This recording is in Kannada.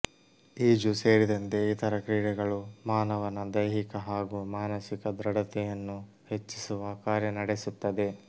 ಈಜು ಸೇರಿದಂತೆ ಇತರ ಕ್ರೀಡೆಗಳು ಮಾನವನ ದೈಹಿಕ ಹಾಗೂ ಮಾನಸಿಕ ದೃಢತೆಯನ್ನು ಹೆಚ್ಚಿಸುವ ಕಾರ್ಯ ನಡೆಸುತ್ತದೆ